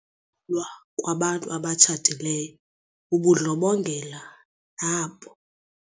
Ukulwa kwabantu abatshatileyo bubundlobongela nabo.